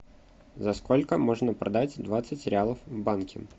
за сколько можно продать двадцать реалов в банке